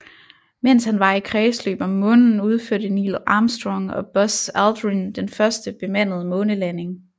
Mens han var i kredsløb om Månen udførte Neil Armstrong og Buzz Aldrin den første bemandede månelanding